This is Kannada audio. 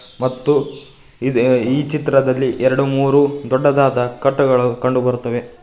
ಮತ್ತು ಇದೆ ಈ ಚಿತ್ರದಲ್ಲಿ ಎರಡು ಮೂರು ದೊಡ್ಡದಾದ ಕಟ್ಟುಗಳು ಕಂಡುಬರುತ್ತಿವೆ.